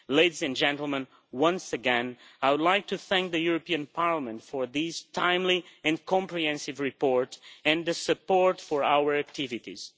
Ladies and gentlemen once again, I would like to thank the European Parliament for this timely and comprehensive report and for the support for our activities.